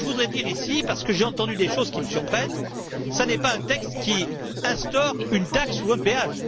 Mais ce que voudrais dire ici, parce que j'ai entendu des choses qui me surprennent, c'est que ce n'est pas un texte qui instaure une taxe ou un péage.